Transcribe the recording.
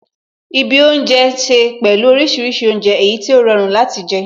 Ibi oúnjẹ ní ṣe pẹ̀lú orísìírísìí oúnjẹ, èyí tí ó rọrùn láti jẹ